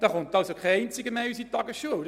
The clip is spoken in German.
Dann kommt keiner mehr in unsere Tagesschulen.